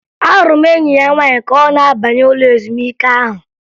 Ahụrụ m enyi ya nwaanyị ka ọ na-abanye ụlọ ezumike ahụ